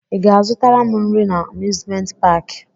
I ga-azụtara m nri na amuzment paki?